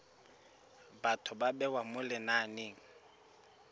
batho ba bewa mo lenaneng